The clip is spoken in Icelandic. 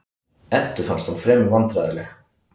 Eddu fannst hún fremur vandræðaleg.